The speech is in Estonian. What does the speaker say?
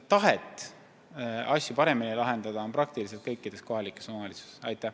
Tahe asju paremini lahendada on kõikides kohalikes omavalitsustes.